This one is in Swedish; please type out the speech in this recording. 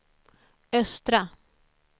östra